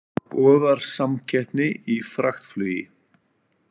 Boðar samkeppni í fraktflugi